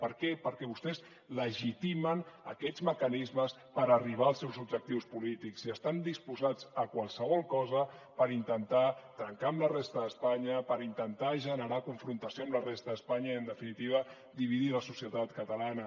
per què perquè vostès legitimen aquests mecanismes per arribar als seus objectius polítics i estan disposats a qualsevol cosa per intentar trencar amb la resta d’espanya per intentar generar confrontació amb la resta d’espanya i en definitiva dividir la societat catalana